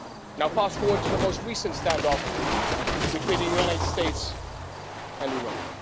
Now fast forward to the most recent standoff between the United States and Iran.